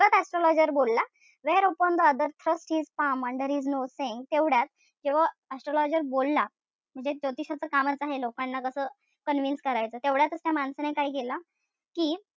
Astrologer बोलला. Where upon the other thrust his palm under his nose saying तेवढ्यात जेव्हा astrologer बोलला कि ते ज्योतिषांच कामच आहे लोकांना जस convince करायचं. तेवढ्यातच त्या माणसाने काय केलं कि,